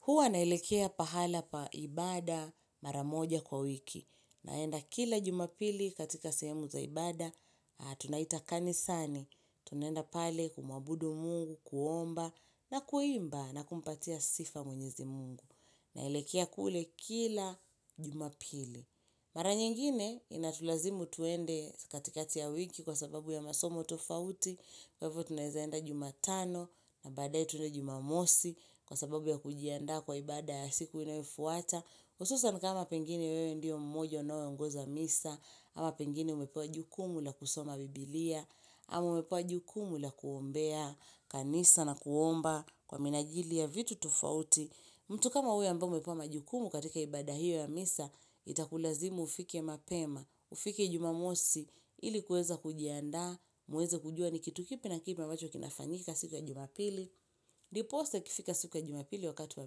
Huwa naelekea pahala paibada maramoja kwa wiki. Naenda kila jumapili katika sehemu zaibada, tunaita kanisani. Tunaenda pale kumuabudu mungu, kuomba na kuimba na kumpatia sifa mwenyezi mungu. Naelekea kule kila jumapili. Mara nyingine inatulazimu tuende katikati ya wiki kwa sababu ya masomo tofauti. Kwa hivyo tunaezaenda jumatano na badae tunaenda jumamosi kwa sababu ya kujianda kwa ibada ya siku inayofuata hususani kama pengine wewe ndio mmoja unaeongoza misa ama pengine umepewa jukumu la kusoma biblia ama umepewa jukumu la kuombea kanisa na kuomba kwa minajili ya vitu tofauti mtu kama huyo ambae umepewa majukumu katika ibada hiyo ya misa Itakulazimu ufike mapema, ufike jumamosi ili kuweza kujiandaa muweze kujua ni kitu kipi na kipi ambacho kinafanyika siku ya jumapili. Ndiposasa ikifika siku ya jumapili wakati wa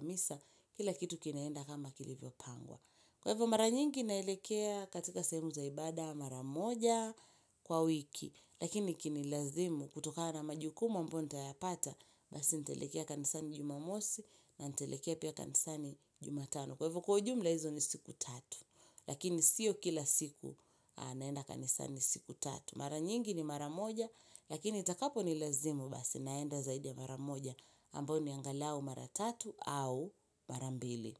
misa, kila kitu kinaenda kama kilivyo pangwa. Kwa hivyo mara nyingi naelekea katika sehemu zaibada mara moja kwa wiki. Lakini ikinilazimu kutokana majukumu ambayo nita ya pata basi nitaelekea kanisani jumamosi na nitaelekea pia kanisani jumatano. Kwa hivyo kwaujumla hizo ni siku tatu. Lakini siyo kila siku naenda kanisani siku tatu. Mara nyingi ni mara moja lakini itakapo ni lazimu basi naenda zaidi ya mara moja ambayo ni angalau mara tatu au mara mbili.